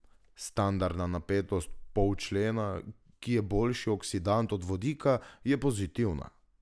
Standardna napetost polčlena, ki je boljši oksidant od vodika, je pozitivna.